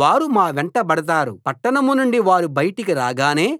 వారు మా వెంటబడతారు పట్టణం నుండి వారు బయటికి రాగానే